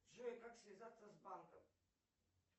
джой как связаться с банком